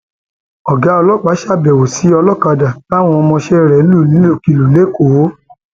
ọgá ọlọpàá ṣàbẹwò sí ọlọkadà táwọn ọmọọṣẹ rẹ lù nílùkulù lẹkọọ